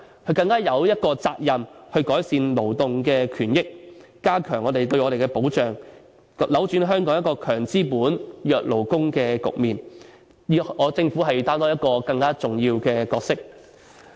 行政長官更有責任改善勞動權益，加強對我們的保障，扭轉香港"強資本、弱勞工"的局面，政府應要擔當更重要的角色。